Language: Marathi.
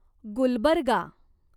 गुलबर्गा